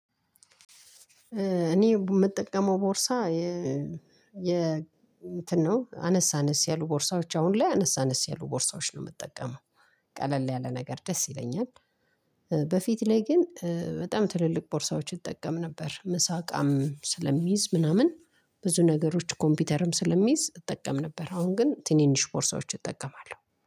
እኔ የምጠቀመው ቦርሳ የ የ እንትን ነው አነስ አነስ ያሉ ቦርሳዎች አሁን ላይ አነስ አነስ ያሉ ቦርሳዎች ነው የምጠቀመው ቀለል ያለ ነገር ደስ ይለኛል። በፊት ላይ ግን በጣም ትልልቅ ቦርሳዎች እጠቀም ነበር ምሳ እቃም ስለሚይዝ ምናምን። ብዙ ነገሮች ኮምፒውተርም ስለሚይዝ እጠቀም ነበር። አሁን ግን ትንንሽ ቦርሳዎች እጠቀማለሁ